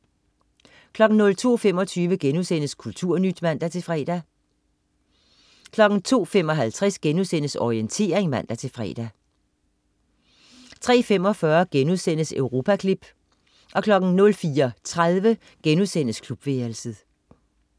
02.25 Kulturnyt* (man-fre) 02.55 Orientering* (man-fre) 03.45 Europaklip* 04.30 Klubværelset*